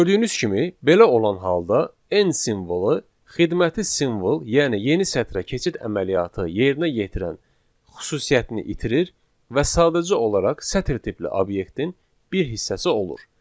Gördüyünüz kimi, belə olan halda n simvolu xidməti simvol, yəni yeni sətrə keçid əməliyyatı yerinə yetirən xüsusiyyətini itirir və sadəcə olaraq sətr tipli obyektin bir hissəsi olur.